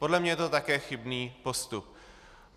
Podle mě je to také chybný postup.